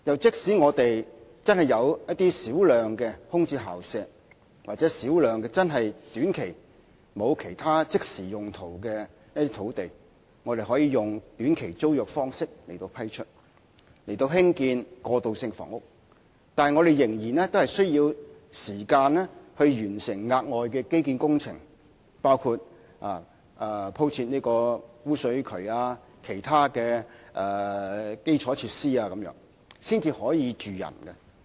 即使我們真的有少量空置校舍，或少量短期內沒有其他即時用途的土地，可以用短期租約方式批出以興建過渡性房屋，但我們仍然需要時間完成敷設污水渠等額外基建工程，以及提供其他基礎設施，才可以讓人居住。